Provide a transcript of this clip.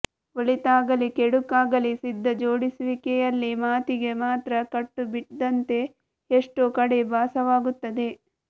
ಒಳಿತಾಗಲಿ ಕೆಡುಕಾಗಲಿ ಸಿದ್ಧ ಜೋಡಿಸುವಿಕೆಯಲ್ಲಿ ಮಾತಿಗೆ ಮಾತ್ರ ಕಟ್ಟುಬಿದ್ದಂತೆ ಎಷ್ಟೋ ಕಡೆ ಭಾಸವಾಗುತ್ತದೆ